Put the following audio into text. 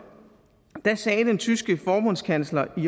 sagde den tyske forbundskansler i